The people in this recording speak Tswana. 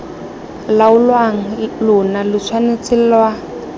laolang lona lo tshwanetse lwa